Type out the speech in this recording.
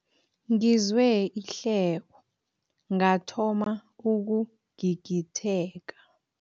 Ngizwe ihleko ngathoma ukugigitheka.